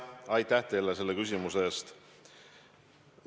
Aitäh teile selle küsimuse eest!